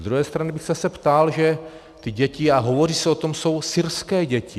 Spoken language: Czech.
Z druhé strany jsem se ptal, že ty děti, a hovoří se o tom, jsou syrské děti.